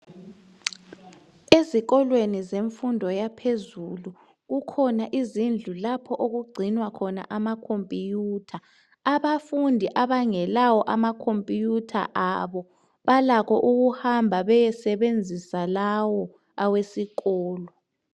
Ezikolweni zemfundo yaphezulu kukhona izindlu lapho okugcinwa khona amakhompiyutha . Abafundi abangelawo amakhompiyutha abo balakho ukuhamba beyesebenzisa lawo awesikolo.